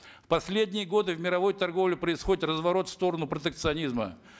в последние годы в мировой торговле происходит разворот в сторону протекционизма